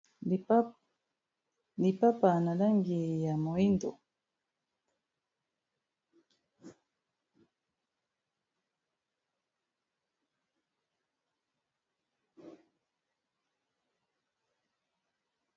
lipapa na langi ya moindo